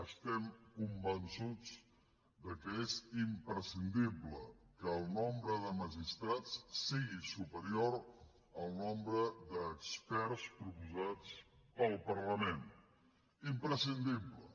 estem convençuts que és imprescindible que el nombre de magistrats sigui superior al nombre d’experts proposats pel parlament imprescindible